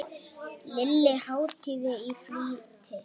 Lilla háttaði í flýti.